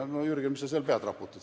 No, Jürgen, mis sa seal pead raputad?